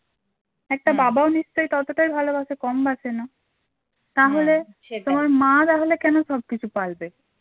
একটা বাবাও নিশ্চয় ততটাই ভালোবাসে কম বাঁসে না সে তাহলে তোমার মা তাহলে কেন সবকিছু পালবে?